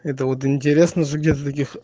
это интересно же где таких